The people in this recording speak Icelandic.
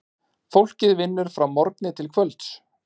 Fólkið vinnur frá morgni til kvölds.